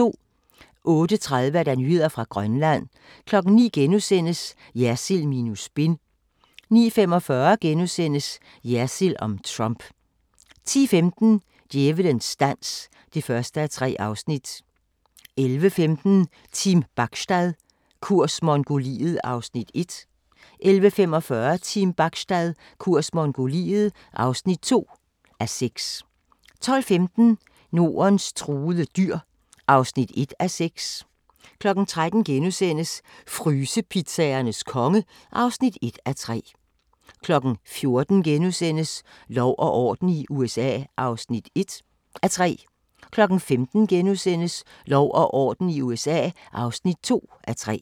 08:30: Nyheder fra Grønland 09:00: Jersild minus spin * 09:45: Jersild om Trump * 10:15: Djævelens dans (1:3) 11:15: Team Bachstad – kurs Mongoliet (1:6) 11:45: Team Bachstad – kurs Mongoliet (2:6) 12:15: Nordens truede dyr (1:6) 13:00: Frysepizzaernes konge (1:3)* 14:00: Lov og orden i USA (1:3)* 15:00: Lov og orden i USA (2:3)*